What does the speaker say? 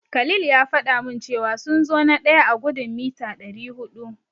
Khalil ya faɗa min cewa sun zo na daya a gudun mita dari hudu.